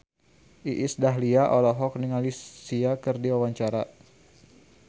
Iis Dahlia olohok ningali Sia keur diwawancara